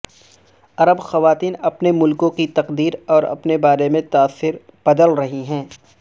عرب خواتین اپنے ملکوں کی تقدیر اور اپنے بارے میں تاثر بدل رہی ہیں